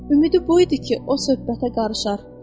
Ümidi bu idi ki, o söhbətə qarışar.